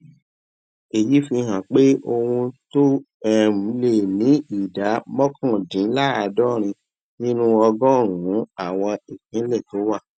èyí fi hàn pé ohun tó um lé ní ìdá mókàndínláàádórin nínú ọgórùnún àwọn ìpínlè tó wà